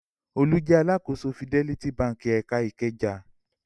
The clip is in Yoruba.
Olú jẹ alákòóso Fidelity Báńkì ẹ̀ka Ìkẹjà.